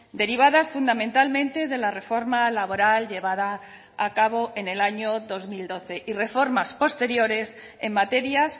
derivadas fundamentalmente de la reforma laboral llevada a cabo en el año dos mil doce y reformas posteriores en materias